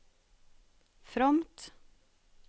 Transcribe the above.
fromt